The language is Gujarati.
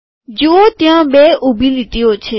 જુઓ ત્યાં બે ઊભી લીટીઓ છે